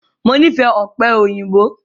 Mo fẹ́ràn ọ̀pẹ̀ òyìnbó